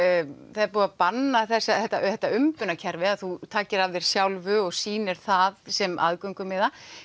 það er búið að banna þetta þetta umbunarkerfi að þú takir af þér sjálfu og sýnir það sem aðgöngumiða